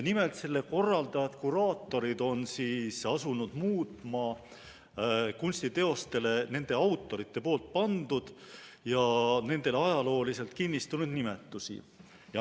Nimelt, selle korraldajad-kuraatorid, on asunud muutma kunstiteostele nende autorite pandud ja nendele ajalooliselt kinnistunud nimetusi.